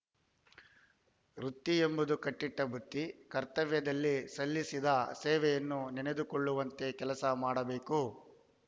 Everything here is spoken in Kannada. ವೃತ್ತಿಯೆಂಬುದು ಕಟ್ಟಿಟ್ಟಬುತ್ತಿ ಕರ್ತವ್ಯದಲ್ಲಿ ಸಲ್ಲಿಸಿದ ಸೇವೆಯನ್ನು ನೆನೆದುಕೊಳ್ಳುವಂತೆ ಕೆಲಸ ಮಾಡಬೇಕು